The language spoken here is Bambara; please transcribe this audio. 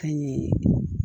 Ka ɲɛ